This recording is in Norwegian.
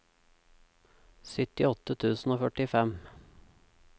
syttiåtte tusen og førtifem